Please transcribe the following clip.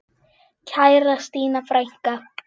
Kæra Stína frænka.